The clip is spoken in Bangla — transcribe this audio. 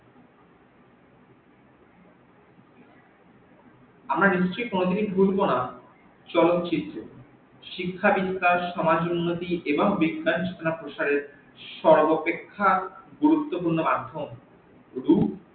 আমরা নিশ্চই কোনদিনই ভুলব না চলচিত্র, শিক্ষা বিস্তার সমাজ উন্নতি এবং বিজ্ঞান শিক্ষার প্রসারে সরবপ্রেখ্যা গুরুত্বপূর্ণ মাধ্যম